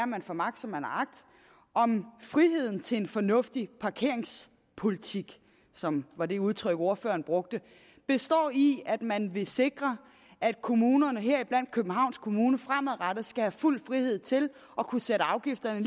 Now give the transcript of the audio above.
man får magt som man har agt om friheden til en fornuftig parkeringspolitik som var det udtryk ordføreren brugte består i at man vil sikre at kommunerne heriblandt københavns kommune fremadrettet skal have fuld frihed til at kunne sætte afgifterne